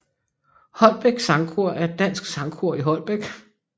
Holbæk Sangkor er et dansk sangkor i Holbæk